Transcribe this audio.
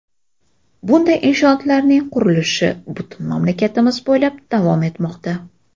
Bunday inshootlarning qurilishi butun mamlakatimiz bo‘ylab davom etmoqda.